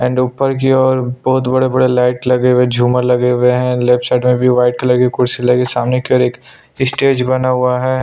And ऊपर जो है बहुत बड़ा-बड़ा लाइट लगे हुए है झूमर लगे हुए है लेफ्ट साइड में ब्लैक कलर की कुर्सी लगी सामने की ओर एक स्टेज बना हुआ है।